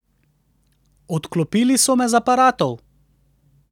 Odklopili so me z aparatov.